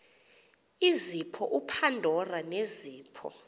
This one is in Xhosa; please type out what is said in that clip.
izipho upandora nezipho